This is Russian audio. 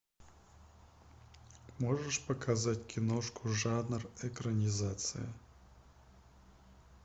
можешь показать киношку жанр экранизация